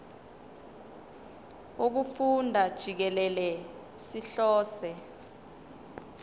wokufunda jikelele sihlose